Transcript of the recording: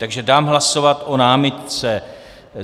Takže dám hlasovat o námitce.